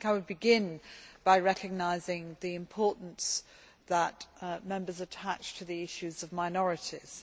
I would begin by recognising the importance that Members attach to the issue of minorities.